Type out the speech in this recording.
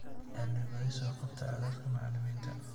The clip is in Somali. Cilmi-baadhis soo qabata codadka macallimiinta.